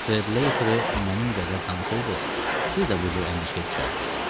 Streleteri mənim qədər tanısaydınız, siz də bu cür əndişəyə düşərdiniz.